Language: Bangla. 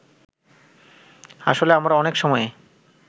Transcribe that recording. আসলে আমরা অনেক সময়ে